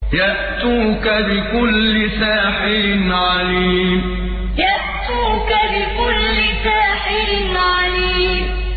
يَأْتُوكَ بِكُلِّ سَاحِرٍ عَلِيمٍ يَأْتُوكَ بِكُلِّ سَاحِرٍ عَلِيمٍ